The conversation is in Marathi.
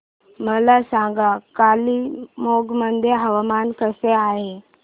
मला सांगा कालिंपोंग मध्ये हवामान कसे आहे